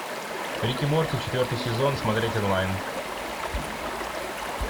рик и морти четвертый сезон смотреть онлайн